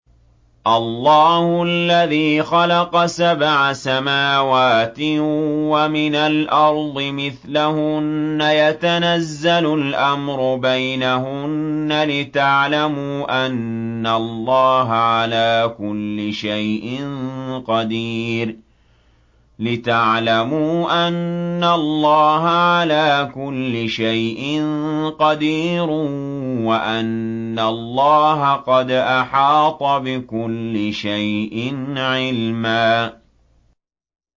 اللَّهُ الَّذِي خَلَقَ سَبْعَ سَمَاوَاتٍ وَمِنَ الْأَرْضِ مِثْلَهُنَّ يَتَنَزَّلُ الْأَمْرُ بَيْنَهُنَّ لِتَعْلَمُوا أَنَّ اللَّهَ عَلَىٰ كُلِّ شَيْءٍ قَدِيرٌ وَأَنَّ اللَّهَ قَدْ أَحَاطَ بِكُلِّ شَيْءٍ عِلْمًا